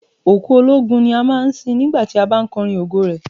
Òkú ológun ni a máa ń sin nígbà tí a bá ń kọrin ògo rẹ̀.